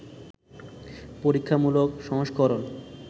পরীক্ষামূলক সংস্করণ